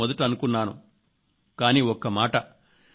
startup పట్ల ఆశలు ఏవిధంగా ఉంటాయో అని నేను మొదట అనుకున్నాను